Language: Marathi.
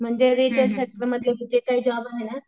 म्हणजे जे काही जॉब आहे ना.